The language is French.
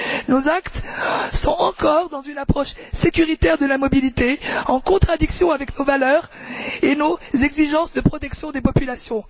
Nos actes sont encore dans une approche sécuritaire de la mobilité, en contradiction avec nos valeurs et nos exigences de protection des populations.